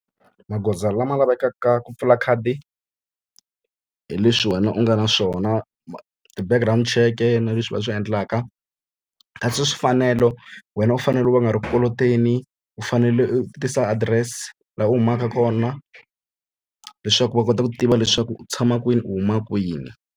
Magoza lama lavekaka ku pfula khadi, hi leswi wena u nga na swona. ti-background cheke na leswi va swi endlaka. Kasi swi fanelo, wena u fanele u va u nga ri ku koloteni, u fanele u tisa adirese laha u humaka kona leswaku va kota ku tiva leswaku u tshama kwini, u huma kwini.